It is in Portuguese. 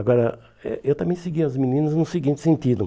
Agora, eh eu também seguia as meninas no seguinte sentido.